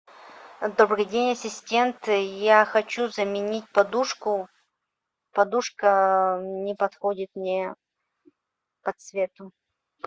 добрый день ассистент я хочу заменить подушку подушка не подходит мне по цвету